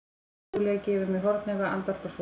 Júlía gefur mér hornauga, andvarpar svo.